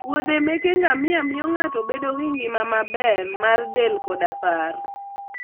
wuodhe meke ngamia miyo ng'ato bedo gi ngima maber mar del koda paro.